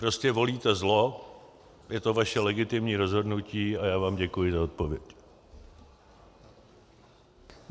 Prostě volíte zlo, je to vaše legitimní rozhodnutí a já vám děkuji za odpověď.